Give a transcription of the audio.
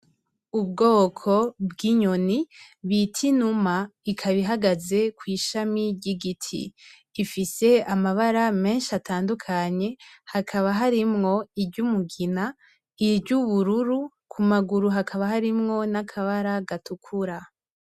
Ubwoko bw'inyoni bita inuma ikaba ihagaze kw'ishami ry'igiti. Ifise amabara menshi atandukanye, hakaba harimwo iry'umugina, iry'ubururu, ku maguru hakaba harimwo n'akabara gatukura.